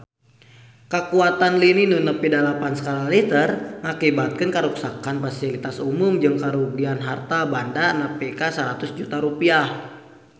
Kakuatan lini nu nepi dalapan skala Richter ngakibatkeun karuksakan pasilitas umum jeung karugian harta banda nepi ka 100 juta rupiah